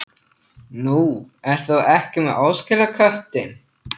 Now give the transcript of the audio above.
Nú, ert þú ekki með óskilaköttinn?